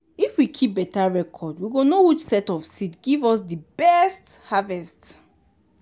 if we keep beta reocrd we go know which set of seed give us di best harvest.